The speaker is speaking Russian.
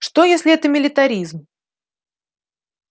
что если это милитаризм